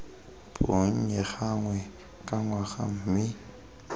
bonnye gangwe ka ngwaga mme